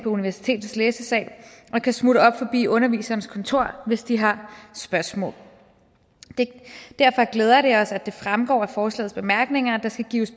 universitetets læsesal og kan smutte op forbi underviserens kontor hvis de har spørgsmål derfor glæder det os at det fremgår af forslagets bemærkninger at der skal gives